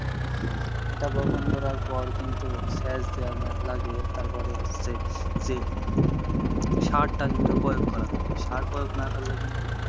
এটা বপন করার পর কিন্তু সেচ দেওয়া লাগে তারপরে হচ্ছে যে সারটা কিন্তু প্রয়োগ করা লাগে, সার প্রয়োগ না করলে কিন্তু,